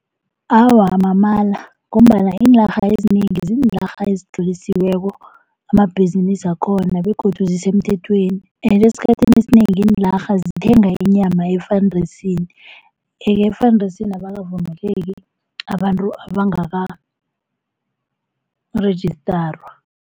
Awa mamala, ngombana iinarha ezinengi ziinarha ezitlolisiweko amabhizinisi wakhona begodu zisemthethweni ende esikhathini esinengi iinlarha zithenga inyama efandisini. Yeke efandisini abakavumeleki abantu abangaka-rejistarwa.